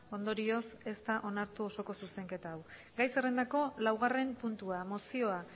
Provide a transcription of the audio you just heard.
ondorioz ez da onartu osoko zuzenketa hau gai zerrendako laugarren puntua mozioa